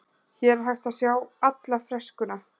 Hér er hægt að sjá alla freskuna.